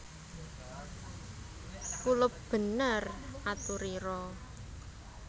Kulup bener aturira